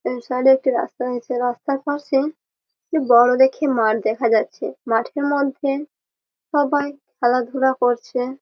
Side -এ একটি রাস্তা আছে। রাস্তার পশে বোরো দেখে মাঠ দেখা যাচ্ছে। মাঠের মধ্যে সবাই খেলাধুলা করছে।